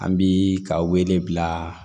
An bi ka wele bila